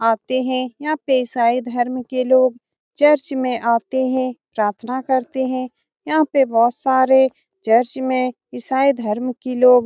आते है यहाँ पे ईसाई धर्म के लोग चर्च में आते है प्रार्थना करते है यहाँ पे बहुत सारे चर्च में ईसाई धर्म के लोग --